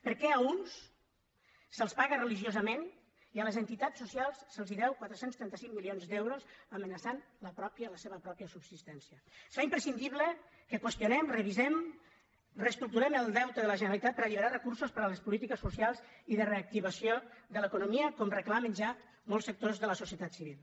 per què a uns se’ls paga religiosament i a les entitats socials se’ls deu quatre cents i trenta cinc milions d’euros amenaçant la seva pròpia subsistència es fa imprescindible que qüestionem revisem reestructurem el deute de la generalitat per alliberar recursos per a les polítiques socials i de reactivació de l’economia com reclamen ja molts sectors de la societat civil